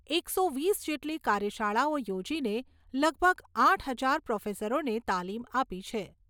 એકસો વીસ જેટલી કાર્યશાળાઓ યોજીને લગભગ આઠ હજાર પ્રોફેસરોને તાલીમ આપી છે.